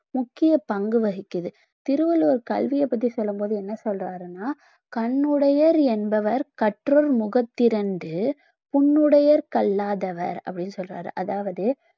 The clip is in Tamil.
முக்கிய பங்கு வகிக்குது திருவள்ளுவர் கல்விய பத்தி சொல்லும் போது என்ன சொல்றாருன்னா கண்ணுடையர் என்பவர் கற்றோர் முகத்திரண்டு புண்ணுடையர் கல்லா தவர் அப்படின்னு சொல்றாரு அதாவது